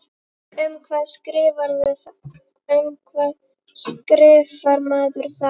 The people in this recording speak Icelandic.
Um hvað skrifar maður þá?